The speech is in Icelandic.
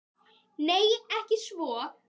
Nei, ekki svo